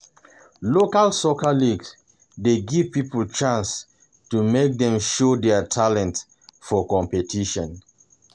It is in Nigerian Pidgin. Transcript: Local soccer leagues dey give people chance make dem show their talent for competition.